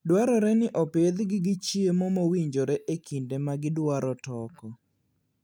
Dwarore ni opidhgi gi chiemo mowinjore e kinde ma gidwaro toko.